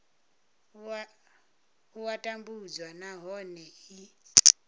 a u tambudzwa nahone i